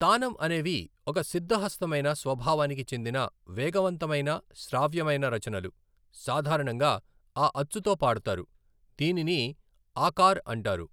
తానం అనేవి ఒక సిద్ధహస్తమైన స్వభావానికి చెందిన వేగవంతమైన శ్రావ్యమైన రచనలు, సాధారణంగా ఆ అచ్చుతో పాడతారు, దీనిని ఆకార్ అంటారు.